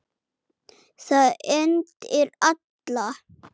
Það hendir alla